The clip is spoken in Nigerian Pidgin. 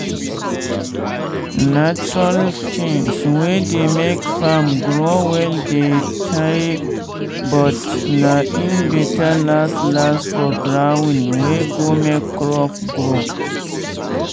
natural tins wey dey make farm grow well dey tey but na im better last last for ground wey go make crop grow.